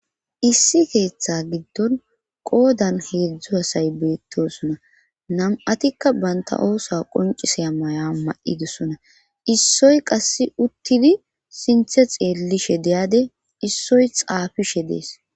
Issi keeththe giddon qoodan heedzdzu hasay beettosona nam7atikka banta oosa qoncisey maya ma7idosona issoy qasse uttidi sinthe xeellishe deyade issoy xaafishe dees